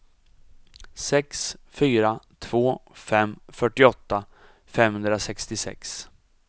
sex fyra två fem fyrtioåtta femhundrasextiosex